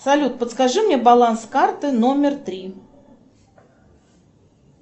салют подскажи мне баланс карты номер три